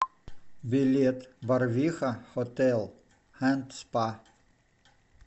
билет борвиха хотел энд спа